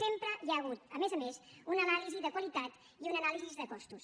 sempre hi ha hagut a més a més una anàlisi de qualitat i una anàlisi de costos